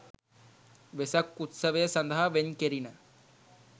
වෙසක් උත්සවය සඳහා වෙන් කෙරිණ